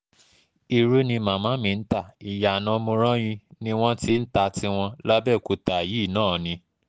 irú ni màmá mi ń ta iyana morányi ni wọ́n ti ń ta tiwọn làbẹ̀òkúta yìí náà ni